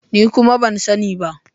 Ni kuma ban sani ba.